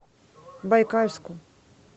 байкальску